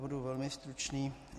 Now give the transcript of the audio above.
Budu velmi stručný.